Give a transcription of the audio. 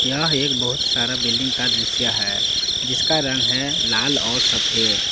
यह एक बहुत सारा बिल्डिंग का दृश्य है जिसका रंग है लाल और सफेद।